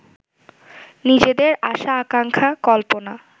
নিজেদের আশা-আকাঙ্ক্ষা কল্পনা